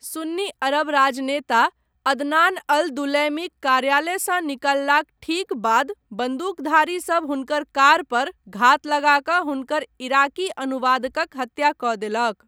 सुन्नी अरब राजनेता Adnan al दुलैमीक कार्यालयसँ निकललाक ठीक बाद बन्दूकधारी सब हुनकर कार पर घात लगा कऽ हुनकर इराकी अनुवादकक हत्या कऽ देलक।